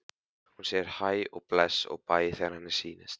Hún segir hæ og bless og bæ þegar henni sýnist!